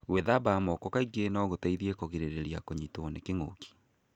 Gwithamba moko kaingĩ no gũteithie kũgĩrĩrĩria kũnyitwo ni kĩngũki.